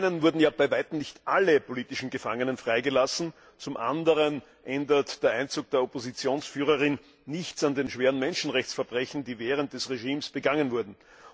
Zum einen wurden bei weitem nicht alle politischen Gefangenen freigelassen, zum anderen ändert der Einzug der Oppositionsführerin nichts an den schweren Menschenrechtsverbrechen, die während des Regimes begangen wurden.